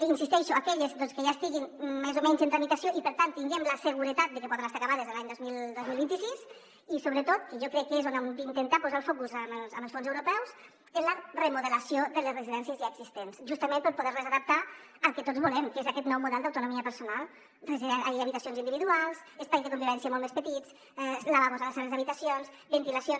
hi insisteixo en aquelles que ja estiguin més o menys en tramitació i per tant tinguem la seguretat de que podran estar acabades l’any dos mil vint sis i sobretot que jo crec que és on hem d’intentar posar el focus amb els fons europeus en la remodelació de les residències ja exis·tents justament per poder·les adaptar al que tots volem que és aquest nou model d’autonomia personal habitacions individuals espais de convivència molt més pe·tits lavabos a les habitacions ventilacions